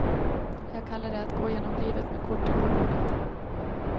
Jag kallar det att gå igenom livet med korten på bordet.